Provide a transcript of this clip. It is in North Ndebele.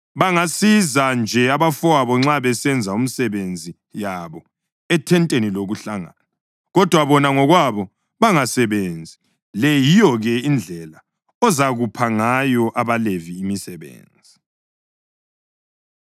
Bangasiza nje abafowabo nxa besenza imisebenzi yabo ethenteni lokuhlangana, kodwa bona ngokwabo bangasebenzi. Le yiyo-ke indlela ozakupha ngayo abaLevi imisebenzi.”